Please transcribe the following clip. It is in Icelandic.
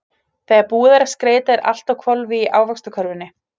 Þegar búið er að skreyta er allt á hvolfi í Ávaxtakörfunni.